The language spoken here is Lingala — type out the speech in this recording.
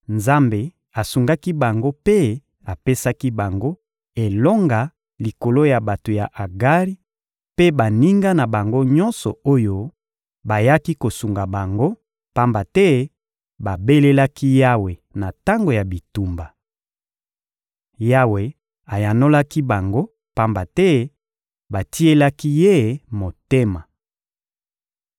Nzambe asungaki bango mpe apesaki bango elonga likolo ya bato ya Agari mpe baninga na bango nyonso oyo bayaki kosunga bango, pamba te babelelaki Yawe na tango ya bitumba. Yawe ayanolaki bango, pamba te batielaki Ye motema.